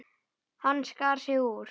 Hann skar sig úr.